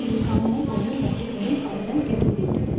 இது காமமும் பொருளும் பற்றி வரும் அவலங் கெடுமென்றது